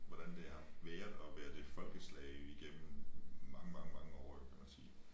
Hvordan det har været at være det folkeslag igennem mange mange mange år eller hvad kan man sige